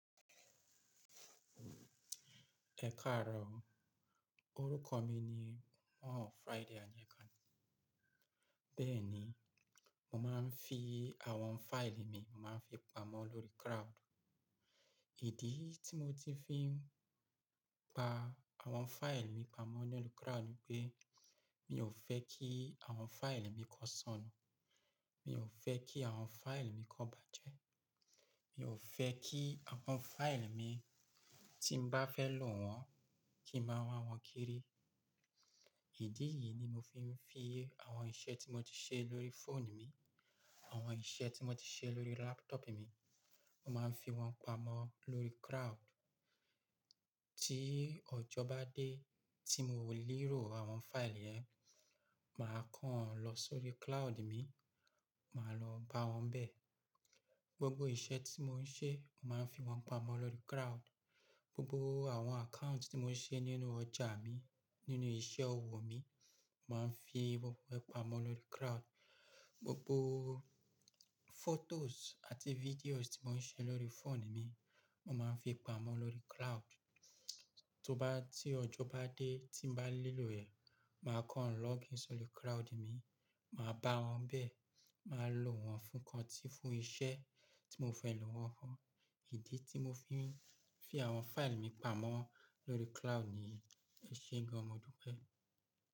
Ẹ káàro, orúkọ mi ni paul Friday Àyẹ́kánní. Bẹ́ẹ̀ni, mo máa ń fi àwọn file mi, mo máa ń fi pamọ́ lórí cloud. Ìdí tí mo ti fi ń pa àwọn file mi pamọ́ nínú cloud ni pé mí ò fẹ́ kí àwọn file mi kó ṣánnu, mí ò fẹ́ kí àwọn file mi kó bàjẹ́, mí ò fẹ́ kí àwọn file mi tí n bá fẹ́ lò wọ́n kí n máa rí wọ́n kéré. Ìdí yìí ni mo fi ń fi àwọn iṣẹ́ tí mo ti ṣe lórí fóònù mi, àwọn iṣẹ́ tí mo ti ṣe lórí laptop mi, mo máa ń fi wọ́n pamọ́ lórí cloud. Tí ọjọ́ bá dé tí mo lè rò àwọn file rẹ, màá kàn lọ sórí cloud mi, màá lọ bá wọn bẹ́ẹ̀. Gbogbo iṣẹ́ tí mo ń ṣe, màá fi wọ́n pamọ́ lórí cloud. Gbogbo àwọn account tí mo ń ṣe nínú ọjà mi, nínú iṣẹ́ ọwọ́ mi, màá fi gbogbo ẹ pamọ́ lórí cloud. Gbogbo photos àti videos tí mo ń ṣe lórí phone mi, mo máa ń fi pamọ́ lórí cloud. Tí ọjọ́ bá dé tí n bá lè lò ẹ̀, màá kàn login sórí cloud mi, màá bá wọn bẹ́ẹ̀, màá lò wọ́n fún kan tí fún iṣẹ́ tí mo fẹ́ lò wọ́n fún. Ìdí tí mo fi ń fi àwọn file mi pamọ́ lórí cloud ni eṣé gan-an modúpẹ́.